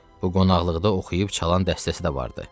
Bu qonaqlıqda oxuyub çalan dəstəsi də vardı.